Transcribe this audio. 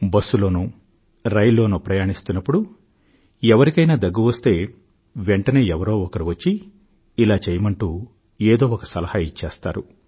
bus లోనో rail లోనో ప్రయాణిస్తున్నప్పుడు ఎవరికైనా దగ్గు వస్తే వెంటనే ఎవరో ఒకరు వచ్చి ఇలా చెయ్యమంటూ ఏదో ఒక సలహా ఇచ్చేస్తారు